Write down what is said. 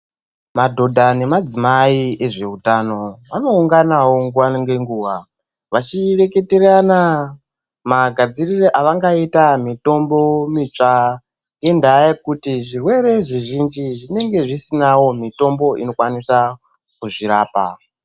Madhodha nemadzimai ezvehutano vanounganawo nguwa ngenguwa vachireketerana magadziriro avangaita mitombo mitsva ngendaa yekuti zvirwere zvizhinji zvinenge zvisinawo mitombo inokwanisa kuzvirapa.